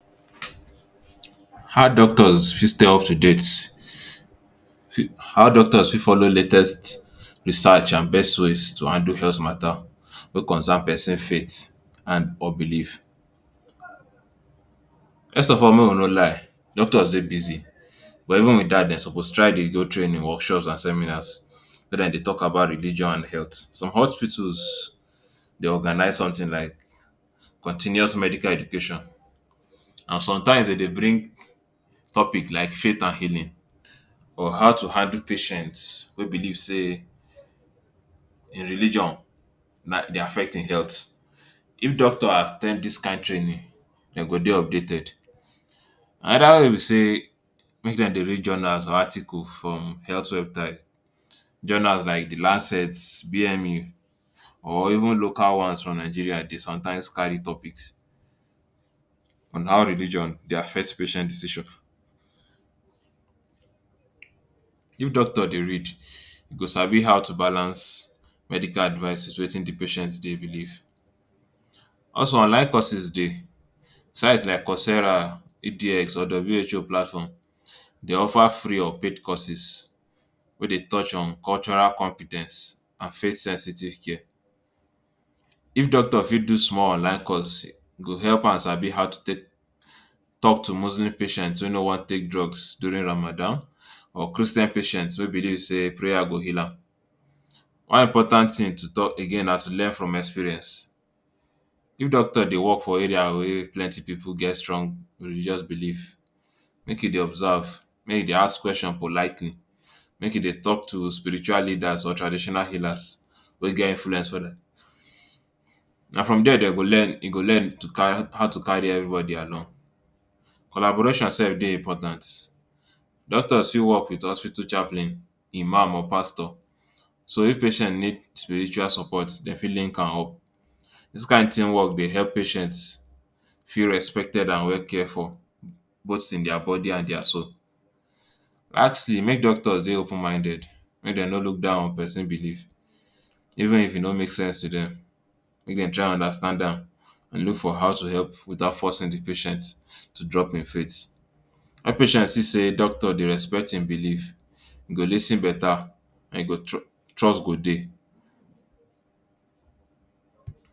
How doctors fit stay up to date, how doctors fit follow latest research and best ways to handle health matta wey concern pesin faith and belief First of all make we no lie doctors dey busy but even wit dat dem suppose try dey go training workshops and seminars wia dem dey tok about religion and health. Some hospitals dey organize somtin like continuous medical education and somtimes dem dey bring topic like faith and healing or how to handle patients wey believe say dia religion na wetin dey affect im health. If doctor at ten d dis kain training dem go dey updated Anoda way be say make dem dey read journals or article from health website. Journals like di Lancet VMU or even local ones for Nigeria dey somtimes carry topics on how religion dey affect patient decision. If doctor dey read e go sabi how to balance medical advice wit wetin di patient dey believe Also online courses dey. Sites like Cousera EdX or WHO platform dey offer free or paid courses wey dey touch on cultural compe ten ce and faith-sensitive care. If doctor fit do small online course e go help am sabi how to take tok to Muslim patients wey no wan take drugs during Ramadan or Christian patients wey believe say prayer go heal am One important tin to tok again na to learn from experience. If doctor dey wok for area wey plenty pipu get strong religious belief make e dey observe make e dey ask question politely make e dey tok to spiritual leaders or traditional healers wey get influence on dem. Na from dia e go learn how to carry evribodi along Collaboration self dey important. Doctors fit wok wit hospital chaplain Imam or Pastor so if patient need spiritual support dem fit link am up. Dis kain teamwork dey help patient feel respected and well cared for both in dia body and dia soul Last tin make doctors dey open minded. Make dem no look down on pesin belief even if e no make sense to dem. Make dem try understand am look for how to help without forcing di patient to drop im faith. Wen patient see say doctor dey respect im belief e go lis ten betta e go trust trust go dey